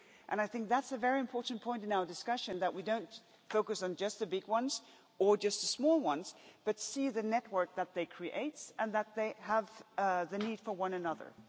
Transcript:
I think that's a very important point in our discussion that we don't focus on just the big ones or just the small ones, but see the network that they create and that they have the need for one another.